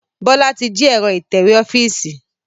Bọlá tí jí ẹ̀rọ itẹ̀wẹ́ ọ́fíìsì